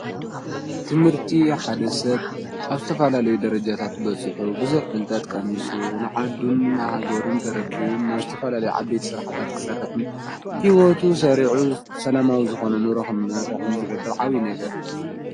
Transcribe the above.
ትምህርቲ ሓደሰብ ኣብስተፋላለዩ ደረጃታት በጽሑ ብዙኅ ብልጠጥ ቀሚሱ ንዓድን ኣሃገሩን ተረኪቡም ናኣብስተፈላለይ ዓቤት ሠርሕታት ክሠርሕን ሕይወቱ ሠሪዑ ሰላማዊ ዝኾነኑ ሮኹም ናርሕም ዝገብል ዓዊ ነገር እዩ።